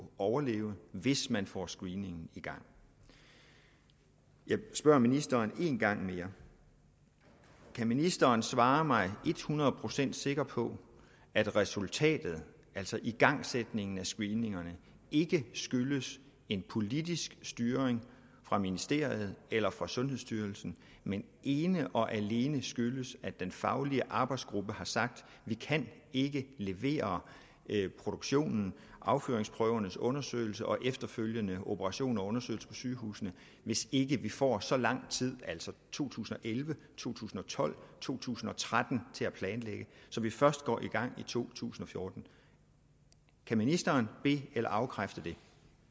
overleve hvis man får screeningen i gang jeg spørger ministeren en gang mere kan ministeren svare mig et hundrede procent sikkert på at resultatet altså igangsætningen af screeningerne ikke skyldes en politisk styring fra ministeriet eller fra sundhedsstyrelsen men ene og alene skyldes at den faglige arbejdsgruppe har sagt vi kan ikke levere produktionen afføringsprøvernes undersøgelse og efterfølgende operation og undersøgelse på sygehusene hvis ikke vi får så lang tid altså to tusind og elleve to tusind og tolv to tusind og tretten til at planlægge så vi først går i gang i 2014 kan ministeren be eller afkræfte det